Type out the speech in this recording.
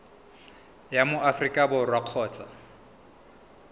wa mo aforika borwa kgotsa